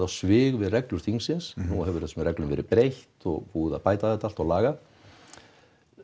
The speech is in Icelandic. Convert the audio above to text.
svig við reglur þingsins nú hefur þessum reglum verið breytt og búið að bæta þetta allt og laga